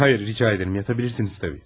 Xeyr, rica edirəm, yatabilirsiniz təbii.